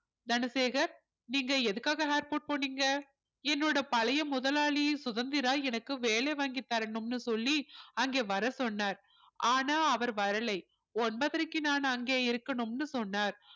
தனசேகர் நீங்க எதுக்காக airport போனீங்க என்னோட பழைய முதலாளி சுதந்திரா எனக்கு வேலை வாங்கி தரணும்னு சொல்லி அங்கே வரச் சொன்னார் ஆனால் அவர் வரலை ஒன்பதரைக்கு நான் அங்கே இருக்கணும்னு சொன்னார்